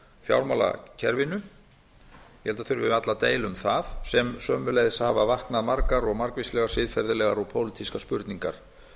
að það þurfi varla að deila um það og sömuleiðis hafa vaknað margar og margvíslegar siðferðilegar og pólitískar spurningar